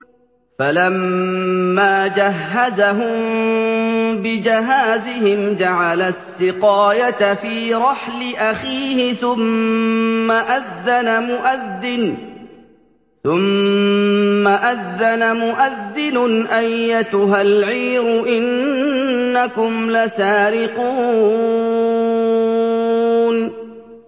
فَلَمَّا جَهَّزَهُم بِجَهَازِهِمْ جَعَلَ السِّقَايَةَ فِي رَحْلِ أَخِيهِ ثُمَّ أَذَّنَ مُؤَذِّنٌ أَيَّتُهَا الْعِيرُ إِنَّكُمْ لَسَارِقُونَ